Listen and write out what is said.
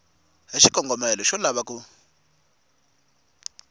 hi xikongomelo xo lava ku